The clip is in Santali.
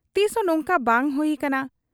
ᱛᱤᱥᱦᱚᱸᱛᱚ ᱱᱚᱝᱠᱟ ᱵᱟᱭ ᱦᱩᱭ ᱟᱠᱟᱱᱟ ᱾